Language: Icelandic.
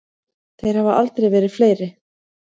Þeir hafa aldrei verið fleiri.